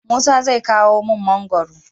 musa zai kawo mun mangoron